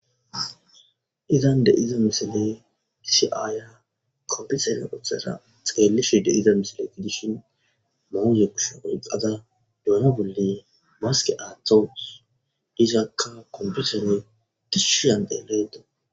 izan de7iza misile gisi aaya kombisene otheza xeellishi deiza misile gidishin mooye kusho oyqada duno bolle maske aaththos isaakka kombisene tishshiyande leedo